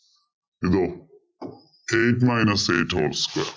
eight minus eight whole square